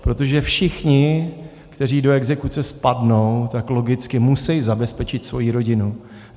Protože všichni, kteří do exekuce spadnou, tak logicky musí zabezpečit svoji rodinu.